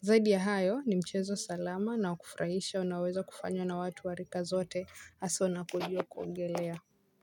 Zaidi ya hayo ni mchezo salama na wa kufurahisha unaoweza kufanywa na watu wa rika zote hasa unapojua kuogelea.